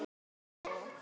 Hún frýs í miðjum smók.